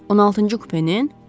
16-cı kupenin?